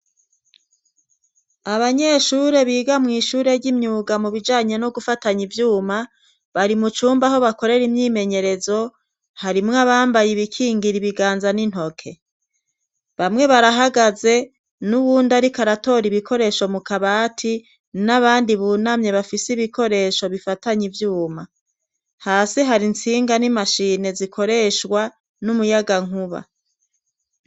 Abanyeshure biga mu ishure ry'imyuga mu bijanye no gufatanya ivyuma bari mu cumba ho bakorera imyimenyerezo harimwe abambaye ibikingira ibiganza n'intoke .Bamwe barahagaze n'uwundi ariko aratora ibikoresho mu kabati n'abandi bunamye bafise ibikoresho bifatanye ibyuma hasi hari nsinga n'imashine zikoreshwa n'umuyagankuba.